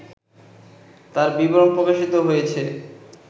তার বিবরণ প্রকাশিত হয়েছে